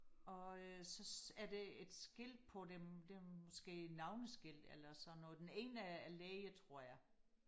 og øh så er der et skilt på dem det er måske et navneskilt eller sådan noget den ene er er læge tror jeg